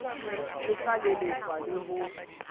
e ka lelefala le ho